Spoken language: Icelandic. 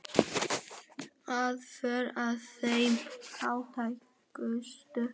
Aðför að þeim fátækustu